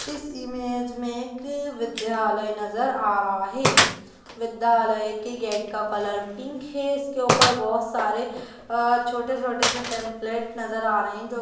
इस इमेज में एक विद्यालय नजर आ रहा है विद्यालय के गेट का कलर पिंक है इसके ऊपर बहुत सारे अ छोटे-छोटे से पैम्फलेट नजर आ रहे हैं जो --